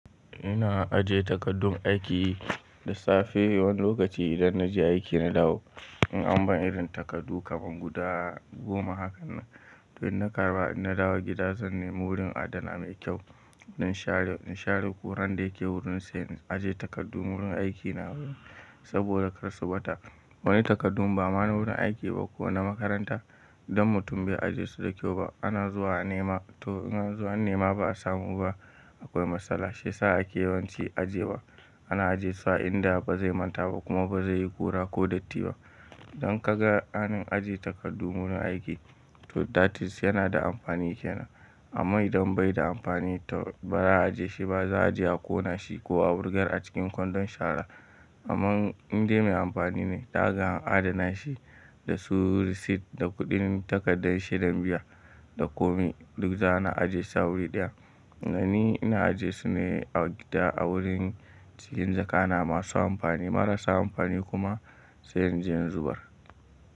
Ina ajiye takardun aiki dasafe woni lokaci idon naje aiki nadawo in an ban irin takardu kaman guda goma hakanan. To in na karba, in na dawo gida zan nemi wurin adana mai kyau. Don share, in share kuran da yake wurin sa yanzu aje takardu wurin aiki na. Saboda kar su ɓata. Bawai takardun ba amma na wurin aiki ba ko na makaranta. Don mutum bai ajiye su da kyau ba. Ana zuwa a nema to in an zo an nema ba a samu ba akoi matsala. Shiyasa ake yawan ci ajewa. Ana ajiyesu a inda ba zai manta ba kuma ba zai yi kura ko datti ba. Don kaga hanin ajiye takardu wurin aiki to that is yana da amfani kenan. Amma idan bai da amfani to ba za a ajiye shi ba. Za a je a ƙona shi ko a wurgar a cikin kwandon shara. Amman inda mai amfani ne, zakaga har adana shi da su receipt da kuɗin takardan shedan biya da komi duk za a na ajiye su a wuri ɗaya. Ni ina ajiyesu ne a gida a wurin cikin jaka na masu amfani marasa amfani kuma sai in je in zubar.